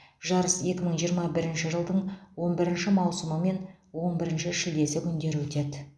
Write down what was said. жарыс екі мың жиырма бірінші жылдың он бірінші маусымы мен он бірінші шілдесі күндері өтеді